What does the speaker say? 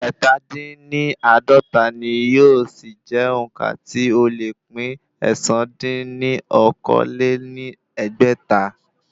Ẹ́ta dín ní àádọ́ta ni yóò sì jẹ́ òǹkà tí ó le pín ẹ̀sán dín ní okòó-lé-ní-ẹgbẹ́ta.